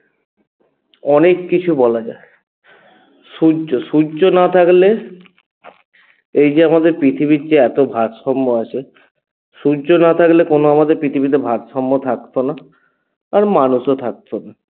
অনেক কিছু বলা যায় সূর্য সূর্য না থাকলে এই যে আমাদের যে পৃথিবীর এত ভারসাম্য আছে সূর্য না থাকলে আমাদের পৃথিবীতে কোনো ভারসাম্য থাকত না আর মানুষও থাকত না